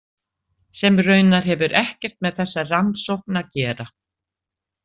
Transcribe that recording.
Sem raunar hefur ekkert með þessa rannsókn að gera.